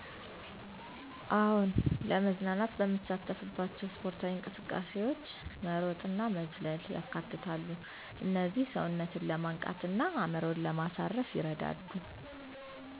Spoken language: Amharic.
አዎን፣ ለመዝናናት በምሳተፍባቸው ስፖርታዊ እንቅስቃሴዎች መሮጥእና መዝለል ያካትታሉ። እነዚህ ሰውነትን ለማንቃት እና አእምሮን ለማሳረፍ ይረዳሉ።